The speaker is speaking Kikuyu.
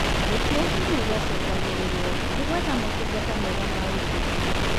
Gũtuĩkani gwacũngagĩrĩrwo nĩ gwetha motungata mega ma ũrigiti